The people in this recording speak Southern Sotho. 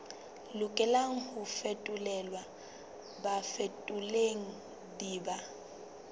lokelang ho fetolelwa bafetoleding ba